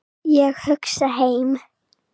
Ég hugsa heim.